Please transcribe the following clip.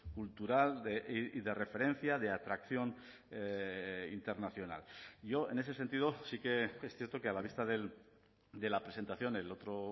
cultural de referencia de atracción internacional yo en ese sentido sí que es cierto que a la vista de la presentación el otro